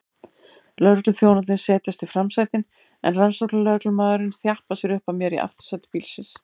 Lögregluþjónarnir setjast í framsætin en rannsóknarlögreglumaðurinn þjappar sér upp að mér í aftursæti bílsins.